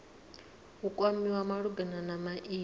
u kwamiwa malugana na maimo